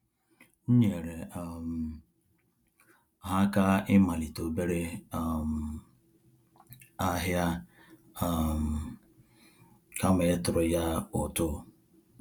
M nyere um ha aka ịmalite obere um ahịa um kama ịtụrụ ya ụtụ